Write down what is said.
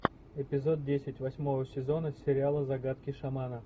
эпизод десять восьмого сезона сериала загадки шамана